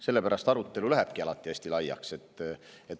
Sellepärast lähebki arutelu alati hästi laiaks.